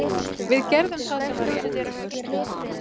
Við gerðum það sem var rétt.